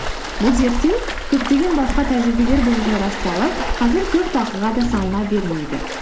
бұл зерттеу көптеген басқа тәжірибелер бойынша расталып қазір көп талқыға да салына бермейді